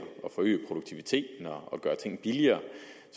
forøge produktiviteten og gøre ting billigere